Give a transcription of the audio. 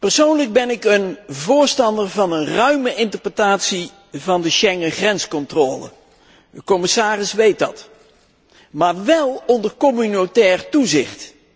Persoonlijk ben ik voorstander van een ruime interpretatie van de Schengen grenscontrole de commissaris weet dat maar wél onder communautair toezicht.